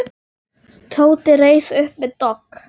Tóti reis upp við dogg.